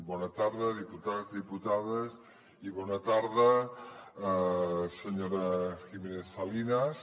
bona tarda diputats diputades i bona tarda senyora giménez salinas